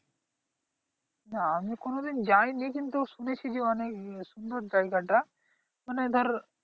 না আমি কোনদিন যাইনি কিন্তু শুনেছি যে অনেক সুন্দর জায়গাটা মানে ধর